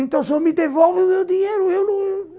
Então, o senhor me devolve o meu dinheiro